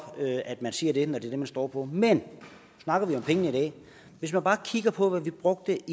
at man siger det når det er det man står for men hvis man bare kigger på hvad vi brugte